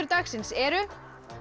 dagsins eru